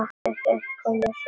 Seint koma sumir.